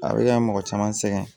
A bɛ ka mɔgɔ caman sɛgɛn